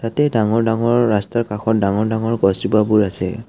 ইয়াতে ডাঙৰ ডাঙৰ ৰাস্তাৰ কাষত ডাঙৰ ডাঙৰ গছ জোপাবোৰ আছে।